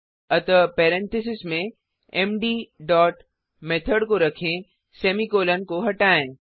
अतःparentheses में मद dot method को रखें सेमीकॉलन को हटाएँ